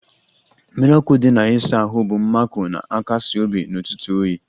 Mmiri ọkụ dị na ịsa ahụ bụ mmakọ na-akasi obi n'ụtụtụ oyi